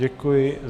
Děkuji.